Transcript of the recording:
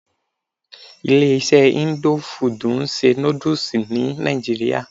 Ilé iṣé indo fudù ń ṣe nódúsì ní nàìjíría.